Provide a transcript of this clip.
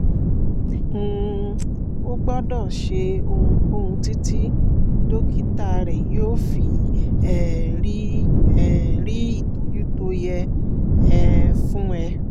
um o ò gbọ́dọ̀ ṣe ohunkóhun títí dókítà rẹ yóò fi um rí um rí ìtọ́jú tó yẹ um fún ẹ